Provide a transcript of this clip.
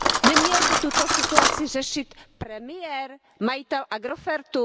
Neměl by tuto situaci řešit premiér a majitel Agrofertu?